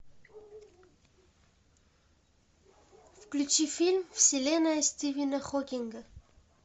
включи фильм вселенная стивена хокинга